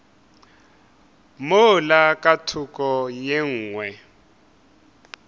mola ka thoko ye nngwe